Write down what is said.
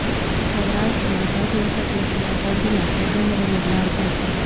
સૌરાષ્ટ્રમાં સૌથી ઓછા કેસ ધરાવતા જીલ્લા પોરબંદર અને દ્વારકા છે